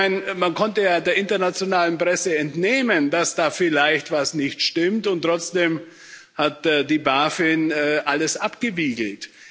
Immerhin, man konnte ja der internationalen Presse entnehmen, dass da vielleicht was nicht stimmt, und trotzdem hat die BaFin alles abgewiegelt.